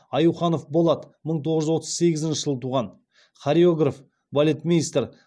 аюханов болат мың тоғыз жүз отыз сегізінші жылы туған хореограф балетмейстер